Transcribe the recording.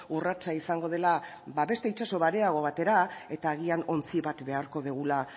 urratsa izango dela beste itsaso bareago batera eta agian ontzi bat beharko dugula